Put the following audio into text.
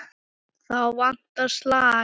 Þá vantar slag.